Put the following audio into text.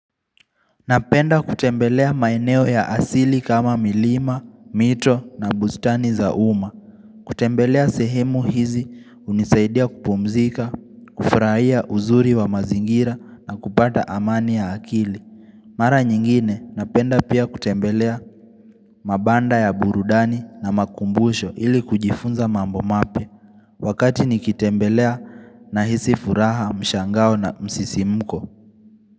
Napenda kutembelea maeneo ya asili kama milima, mito na bustani za uma. Kutembelea sehemu hizi unisaidia kupumzika, kufurahia uzuri wa mazingira na kupata amani ya akili. Mara nyingine napenda pia kutembelea mabanda ya burudani na makumbusho ili kujifunza mambo mapia. Wakati nikitembelea nahisi furaha mshangao na msisimuko.